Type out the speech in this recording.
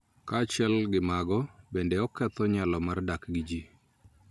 Kaachiel gi mago, bende oketho nyalo mar dak gi ji